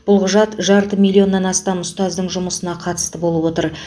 бұл құжат жарты миллионнан астам ұстаздың жұмысына қатысты болып отыр